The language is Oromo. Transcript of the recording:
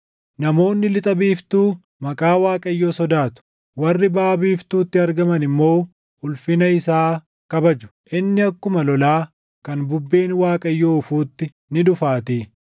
Namoonni lixa biiftuu maqaa Waaqayyoo sodaatu; warri baʼa biiftuutti argaman immoo ulfina isaa kabaju. Inni akkuma lolaa, kan bubbeen Waaqayyoo oofuutti ni dhufaatii.